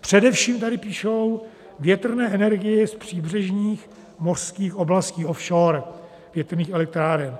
především, tady píšou, větrné energii z příbřežních mořských oblastí offshore, větrných elektráren.